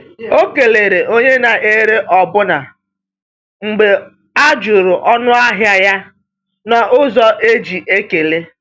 O kelere onye na-ere ọbụna mgbe a jụrụ ọnụahịa ya n’ụzọ e ji ekele.